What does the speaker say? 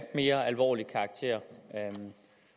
mere alvorlig karakter